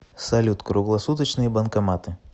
салют круглосуточные банкоматы